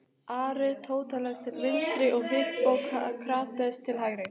Aristóteles til vinstri og Hippókrates til hægri.